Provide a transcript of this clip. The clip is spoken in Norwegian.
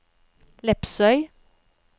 Lepsøy